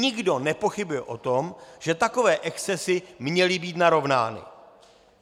Nikdo nepochybuje o tom, že takové excesy měly být narovnány.